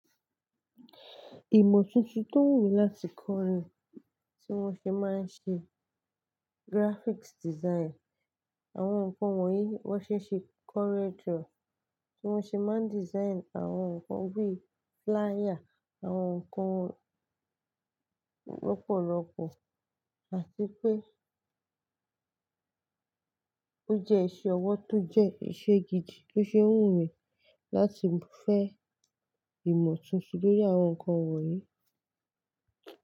Ìmọ̀ tuntun tó wù láti kọ́ ni tí wọ́n ṣe máa ń ṣe graphics design, àwọn nǹkan wọ̀nyí wọ́n ṣẹ̀ ṣì kọ́rẹdrọ, tí wọ́n ṣe máa ń design àwọn nǹkan bí flier, àwọn nǹkan rọ́pọ̀ rọ́pọ̀, àti pé ó jẹ́ iṣẹ́ ọwọ́ tó jẹ́ iṣẹ́ gidi tó ṣe wù mí láti fẹ́ ìmọ̀ tuntun lórí àwọn nǹkan wọ̀nyí.